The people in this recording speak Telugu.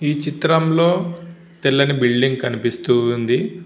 ఈ చిత్రం లొ తెల్లగా బిల్డింగ్ కనిపిస్తూ ఉంది.